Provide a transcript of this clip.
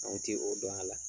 Anw tɛ o dɔn a la.